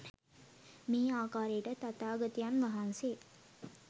මේ ආකාරයට තථාගතයන් වහන්සේ